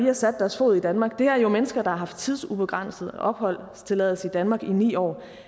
har sat deres fod i danmark det her er jo mennesker der har haft tidsubegrænset opholdstilladelse i danmark i ni år